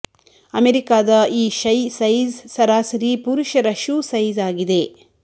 ಅಮೆರಿಕಾದ ಈ ಶೈ ಸೈಜ್ ಸರಾಸರಿ ಪುರುಷರ ಶೂ ಸೈಜ್ ಆಗಿದೆ